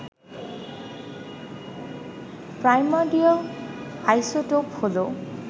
primordial isotope হল